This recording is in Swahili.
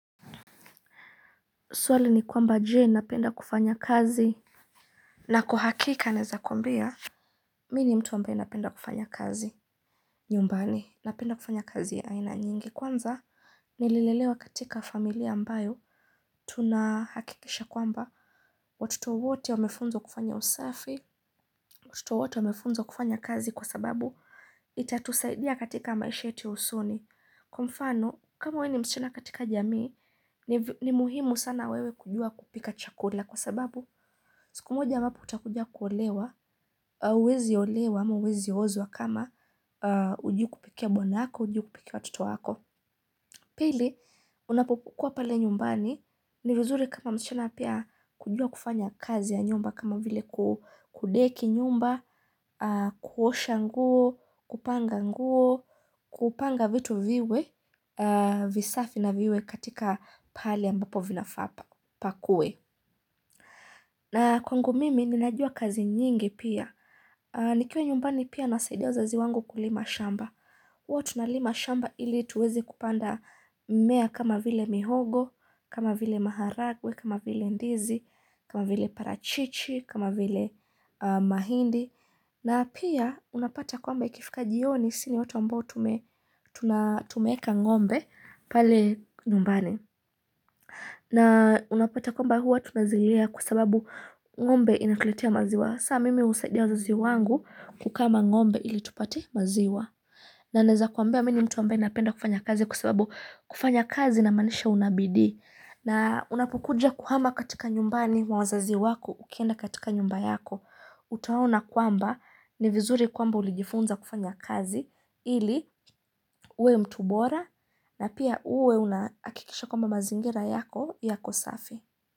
Swali ni kwamba je napenda kufanya kazi na kwa hakika anaeza kwambia Mi ni mtu ambaye napenda kufanya kazi nyumbani napenda kufanya kazi aina nyingi kwanza Nililelewa katika familia ambayo Tunahakikisha kwamba watoto wote wamefunzwa kufanya usafi Watoto wote wamefunzwa kufanya kazi kwa sababu itatusaidia katika maisha yetu usoni Kwa mfano, kama we ni msichina katika jamii, ni muhimu sana wewe kujua kupika chakula kwa sababu, siku moja ambapo utakuja kuolewa, uwezi olewa, ama uwezi ozwa kama ujui kupikia bwanaako, ujui kupikia watto wako. Pili, unapokuwa pale nyumbani ni vizuri kama msichana pia kujua kufanya kazi ya nyumba kama vile kudeki nyumba, kuosha nguo, kupanga nguo, kupanga vitu viwe, visafi na viwe katika pahali ambapo vinafaa pa, pakue. Na kwangu mimi ninajua kazi nyingi pia. Nikiwa nyumbani pia nasaidia wazazi wangu kulima shamba. Huwa tunalima shamba ili tuwezi kupanda mimea kama vile mihogo, kama vile maharagwe, kama vile ndizi, kama vile parachichi, kama vile mahindi. Na pia unapata kwamba ikifika jioni si ni watu ambao tunatumeeka ngombe pale nyumbani. Na unapata kwamba huwa tunazilea kwa sababu ngombe inakuletia maziwa. Sa mimi husaidia wazazi wangu kukama ngombe ili tupate maziwa. Na naeza kuambia mimi mtu ambae napenda kufanya kazi kwa sababu kufanya kazi na maanisha unabidi. Na unapukuja kuhama katika nyumbani mwa wazazi wako ukienda katika nyumba yako. Utaona kwamba ni vizuri kwamba ulijifunza kufanya kazi. Ili uwe mtu bora na pia uwe unahakikisha kama mazingira yako yako safi.